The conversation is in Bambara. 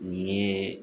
Nin ye